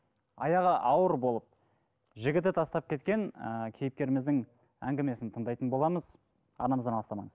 аяғы ауыр болып жігіті тастап кеткен ыыы кейіпкеріміздің әңгімесін тыңдайтын боламыз арнамыздан алыстамаңыз